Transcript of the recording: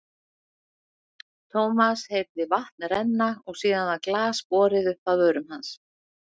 Thomas heyrði vatn renna og síðan var glas borið upp að vörum hans.